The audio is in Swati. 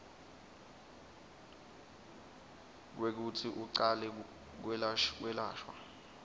kwekutsi ucale kwelashwa